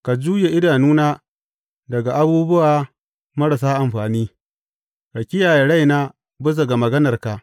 Ka juye idanuna daga abubuwa marasa amfani; ka kiyaye raina bisa ga maganarka.